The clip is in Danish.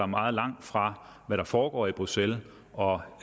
meget langt fra hvad der foregår i bruxelles og